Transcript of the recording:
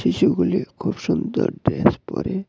শিশুগুলি খুব সুন্দর ড্রেস পরে--